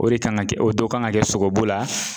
O de kan ŋa kɛ o do kan ŋa kɛ sogobu la